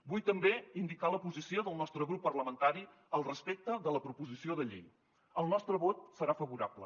vull també indicar la posició del nostre grup parlamentari respecte de la proposició de llei el nostre vot serà favorable